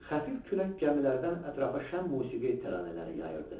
Xəfif külək gəmilərdən ətrafa şəhmusiqi təranələri yayırdı.